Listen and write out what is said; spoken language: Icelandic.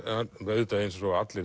auðvitað eins og allir